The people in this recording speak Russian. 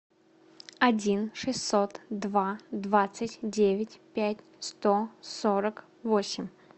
один шестьсот два двадцать девять пять сто сорок восемь